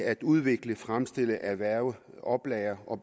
at udvikle fremstille erhverve oplagre og